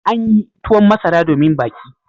An yi tuwon masara domin baki.